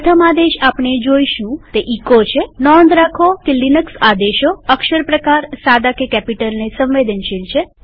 પ્રથમ આદેશ આપણે જોઈશું તે એચો છેનોંધ રાખો કે લિનક્સ આદેશો અક્ષર પ્રકારસાદા કે કેપિટલને સંવેદનશીલ છે